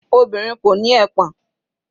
Obìnrin kò ní ẹpọ̀n.